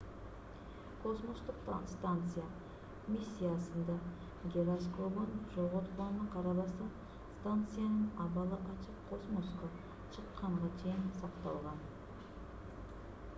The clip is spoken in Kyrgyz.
космостук станция миссиясында гироскобун жоготконуна карабастан станциянын абалы ачык космоско чыкканга чейин cакталган